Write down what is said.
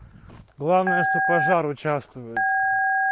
главное что пожар участвуют